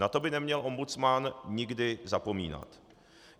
Na to by neměl ombudsman někdy zapomínat.